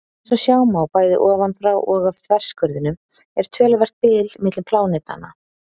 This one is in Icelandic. Eins og sjá má, bæði ofanfrá og af þverskurðinum, er töluvert bil milli plánetanna.